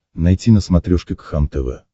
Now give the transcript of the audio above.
найти на смотрешке кхлм тв